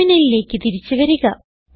ടെർമിനലിലേക്ക് തിരിച്ച് വരിക